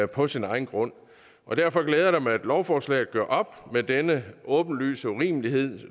på sin egen grund og derfor glæder det mig at lovforslaget gør op med denne åbenlyse urimelighed